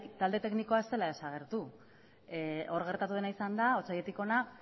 talde teknikoa ez dela desagertu hor gertatu dena izan da otsailetik hona